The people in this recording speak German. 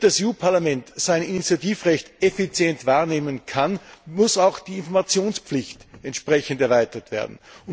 Damit das EU Parlament sein Initiativrecht effizient wahrnehmen kann, muss auch die Informationspflicht entsprechend erweitert werden.